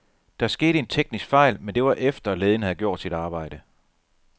Der skete en teknisk fejl, men det var efter, lægen havde gjort sit arbejde.